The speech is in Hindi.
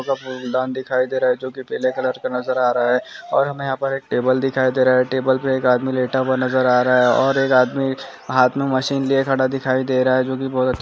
एक फूलदान दिखाई दे रहा है। जो की पिले कलर के नजर आ रहे है। और हमे ऑपरेट टेबल टेबल दिखाई दे रहा है। टेबल पे एक आदमी लेटा हुआ नज़र और रहा। और एक आदमी हाथ मशीन लिए खड़ा दिखाई दे रहा है। जो की बह--